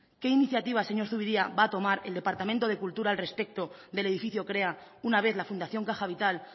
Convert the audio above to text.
qué iniciativa señor zupiria va a tomar el departamento de cultura al respecto del edificio krea una vez la fundación caja vital